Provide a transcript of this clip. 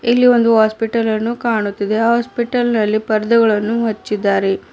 ಇಲ್ಲಿ ಒಂದು ಹಾಸ್ಪಿಟಲನ್ನು ಕಾಣುತ್ತಿದೆ ಹಾಸ್ಪಿಟಲ್ ನಲ್ಲಿ ಪರ್ದೆಗಳನ್ನು ಹಚ್ಚಿದ್ದಾರೆ.